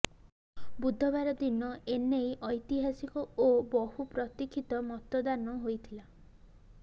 ବୁଧବାର ଦିନ ଏନେଇ ଐତିହାସିକ ଓ ବହୁପ୍ରତିକ୍ଷିତ ମତଦାନ ହୋଇଥିଲା